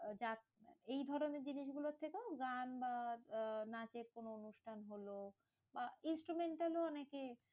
এইধরণের জিনিসগুলোর থেকেও গান বা আহ নাচের কোনো অনুষ্ঠান লহো। বা instrumental ও অনেকে